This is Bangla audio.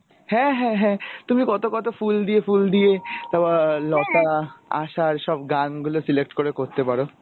হ্যাঁ হ্যাঁ হ্যাঁ তুমি কত কত ফুল দিয়ে ফুল দিয়ে তারপর লতা আশার সব গান গুলো select করে করতে পারো